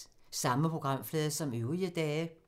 Samme programflade som øvrige dage